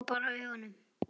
Loka bara augunum.